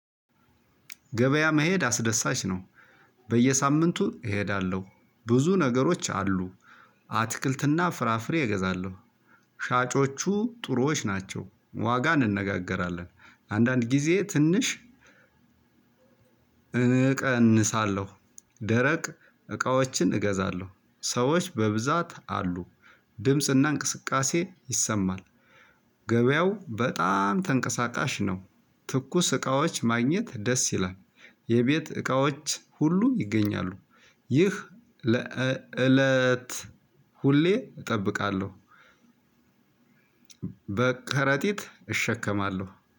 ገበያ መሄድ አስደሳች ነው። በየሳምንቱ እሄዳለሁ ብዙ ነገሮች አሉ። አትክልትና ፍራፍሬ እገዛለሁ። ሻጮቹ ጥሩዎች ናቸው። ዋጋ እንነጋገራለን አንዳንድ ጊዜ ትንሽ እቀንሳለው። ደረቅ እቃዎችን እገዛለሁ ሰዎች በብዛት አሉ። ድምጽና እንቅስቃሴ ይሰማል። ገበያው በጣም ተንቀሳቃሽ ነው። ትኩስ እቃዎች ማግኘት ደስ ይላል። የቤት እቃዎች ሁሉ ይገኛሉ። ይህ ለእለት ሁሌ እጠብቃለሁ። በከረጢት እሸከማለሁ